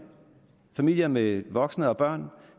familier med voksne og børn